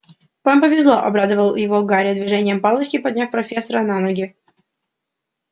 вам повезло обрадовал его гарри движением палочки подняв профессора на ноги